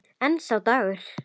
En sá dagur!